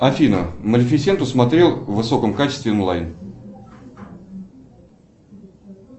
афина малифисенту смотрел в высоком качестве онлайн